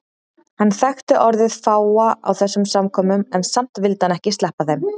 Hann þekkti orðið fáa á þessum samkomum en samt vildi hann ekki sleppa þeim.